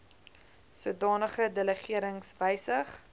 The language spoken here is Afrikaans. sodanige delegerings wysig